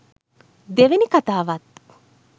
දෙවනි කථාවත්